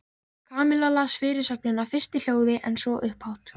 Kamilla las fyrirsögnina fyrst í hljóði en svo upphátt.